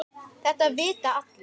Þetta vita allir.